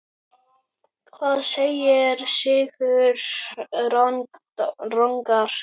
Hvað segir Sigurður Ragnar?